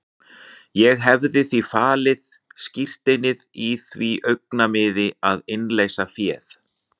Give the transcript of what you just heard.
Ég hefði því falið skírteinið í því augnamiði að innleysa féð.